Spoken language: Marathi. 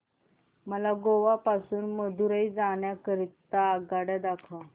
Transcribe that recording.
मला गोवा पासून मदुरई जाण्या करीता आगगाड्या दाखवा